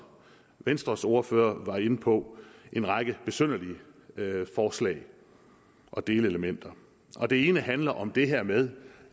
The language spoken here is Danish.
venstres ordfører var inde på en række besynderlige forslag og delelementer det ene handler om det her med